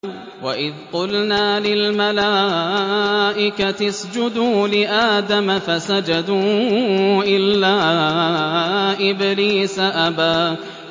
وَإِذْ قُلْنَا لِلْمَلَائِكَةِ اسْجُدُوا لِآدَمَ فَسَجَدُوا إِلَّا إِبْلِيسَ أَبَىٰ